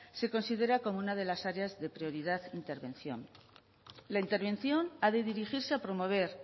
se considera como una de las áreas de prioridad e intervención la intervención ha de dirigirse a promover